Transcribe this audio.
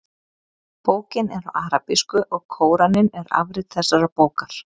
bókin er á arabísku og kóraninn er afrit þessarar bókar